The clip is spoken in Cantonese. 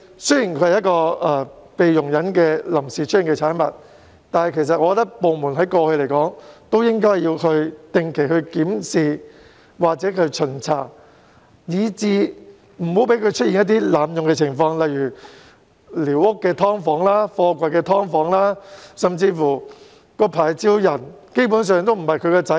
雖然寮屋是臨時出現的產物，但依我之見，政府部門其實應在過去定期進行檢視或巡查，以杜絕各種濫用情況，例如寮屋"劏房"、貨櫃"劏房"，甚至持牌人並非寮屋原居民的子女。